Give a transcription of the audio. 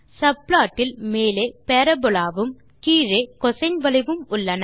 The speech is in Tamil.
சப்ளாட் இல் மேலே பரபோலா வும் கீழே கோசின் வளைவும் உள்ளன